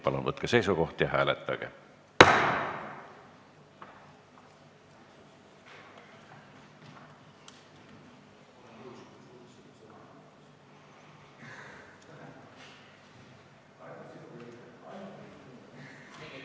Palun võtke seisukoht ja hääletage!